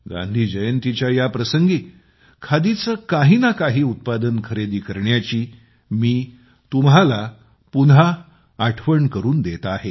गांधी जयंतीच्या या प्रसंगी खादीचे काहीना काही उत्पादन खरेदी करण्याची मी तुम्हाला पुन्हा आठवण करून देत आहे